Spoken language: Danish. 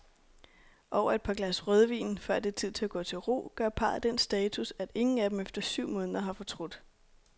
Over et glas rødvin, før det er tid at gå til ro, gør parret den status, at ingen af dem efter syv måneder har fortrudt.